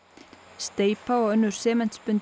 steypa og önnur